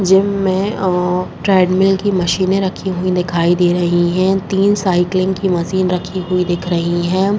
Gym में औं treadmill की मशीने रखीं हुईं दिखाई दे रहीं हैं। तिन साइक्लिंग की मशीन रखी हुई दिख रही हैं।